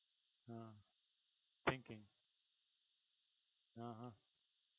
હા થિંકિંગ અ હ